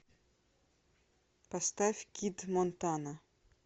поставь кид монтана